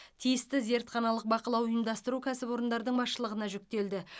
тиісті зертханалық бақылау ұйымдастыру кәсіпорындардың басшылығына жүктелді